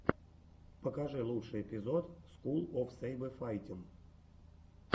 покажи лучший эпизод скул оф сэйбэфайтин